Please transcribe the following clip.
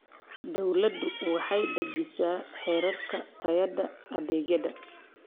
Dawladdu waxay dejisaa heerarka tayada adeegyada.